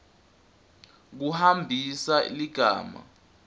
kumbambisa ligama